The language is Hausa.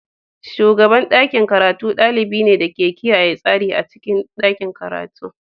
Shugaban ɗakin karatu ɗalibi ne ke kiyaye tsari a cikin ɗakin karatu.